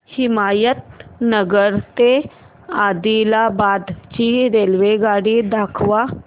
हिमायतनगर ते आदिलाबाद ची रेल्वेगाडी दाखवा